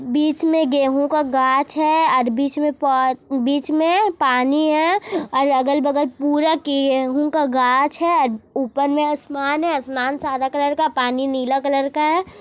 बीच में गेहूं का गाछ है और बीच में प--बीच में पानी है और अगल-बगल पूरा गेहूं का गाछ है और उपर में आसमान है आसमान सादा कलर का है पानी नीला कलर का है।